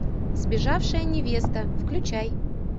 сбежавшая невеста включай